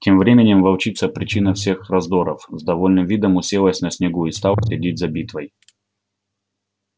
тем временем волчица причина всех раздоров с довольным видом уселась на снегу и стала следить за битвой